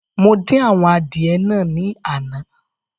Mo dín àwọn adìẹ naa ní àná